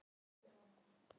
Hann stefndi beint á þá.